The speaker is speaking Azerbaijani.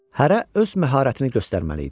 Hərə öz məharətini göstərməli idi.